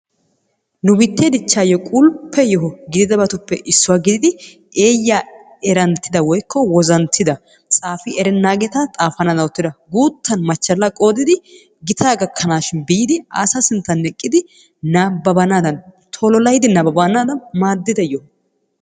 Nu biitte dichchayyo qulppe yoho gididabtuppe issuwa gididi eeyya eranttida woykko wozanttida, tsaafi erennaageeta xaafanaddan oottida guuttan machchala qoodidi gitaa gakanshin biidi asa sinttan eqqidi nabbabanadan, tololaydi nababbanadan maaddida yoho.